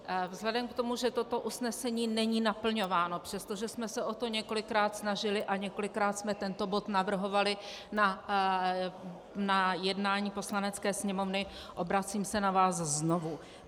Vzhledem k tomu, že toto usnesení není naplňováno, přestože jsme se o to několikrát snažili a několikrát jsme tento bod navrhovali na jednání Poslanecké sněmovny, obracím se na vás znovu.